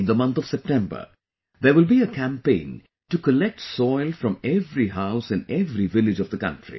In the month of September, there will be a campaign to collect soil from every house in every village of the country